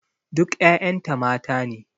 Duk ƴaƴan ta mata ne.